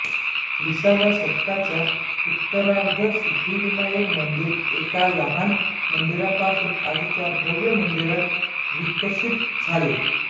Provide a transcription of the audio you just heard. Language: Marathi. विसाव्या शतकाच्या उत्तरार्धात सिद्धिविनायक मंदिर एका लहान मंदिरापासून आजच्या भव्य मंदिरात विकसित झाले